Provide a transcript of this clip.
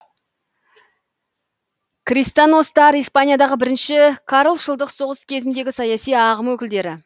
кристиностар испаниядағы бірінші карлшылдық соғыс кезіндегі саяси ағым өкілдері